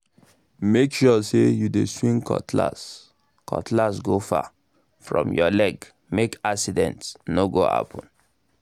make sure say you dey swing cutlass cutlass go far um from your leg—make accident no go happen